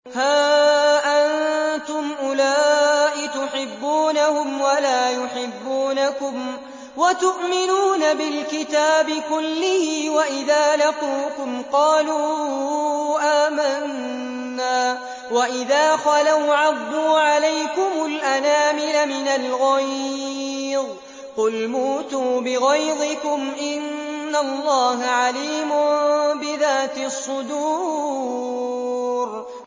هَا أَنتُمْ أُولَاءِ تُحِبُّونَهُمْ وَلَا يُحِبُّونَكُمْ وَتُؤْمِنُونَ بِالْكِتَابِ كُلِّهِ وَإِذَا لَقُوكُمْ قَالُوا آمَنَّا وَإِذَا خَلَوْا عَضُّوا عَلَيْكُمُ الْأَنَامِلَ مِنَ الْغَيْظِ ۚ قُلْ مُوتُوا بِغَيْظِكُمْ ۗ إِنَّ اللَّهَ عَلِيمٌ بِذَاتِ الصُّدُورِ